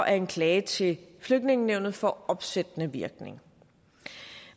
at en klage til flygtningenævnet får opsættende virkning